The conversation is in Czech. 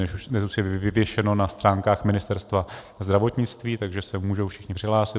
Dnes už je vyvěšeno na stránkách Ministerstva zdravotnictví, takže se můžou všichni přihlásit.